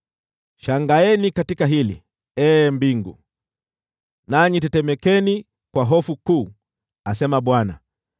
Shangaeni katika hili, ee mbingu, nanyi tetemekeni kwa hofu kuu,” asema Bwana .